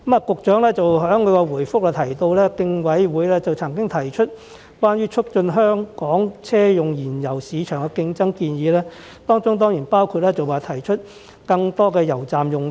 局長在主體答覆中表示，競委會曾經提出關於促進香港車用燃油市場競爭的建議，當中包括推出更多油站用地。